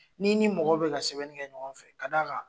N'i ni mɔgɔ bi ka sɛbɛn kɛ ɲɔgɔn fɛ ka d'a kan